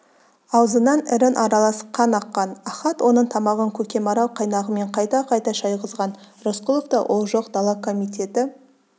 аузынан ірің аралас қан аққан ахат оның тамағын көкемарал қайнағымен қайта-қайта шайғызған рысқұловта ол жоқ дала комитеті